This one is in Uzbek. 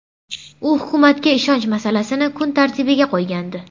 U hukumatga ishonch masalasini kun tartibiga qo‘ygandi.